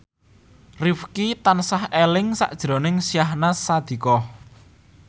Rifqi tansah eling sakjroning Syahnaz Sadiqah